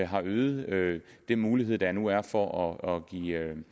har øget den mulighed der nu er for at give